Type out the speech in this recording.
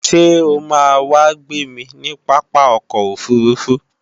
Ṣé o máa wá gbémi ní pápá ọkọ̀ òfurufú?